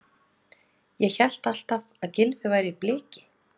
Ég hélt alltaf að Gylfi væri Bliki?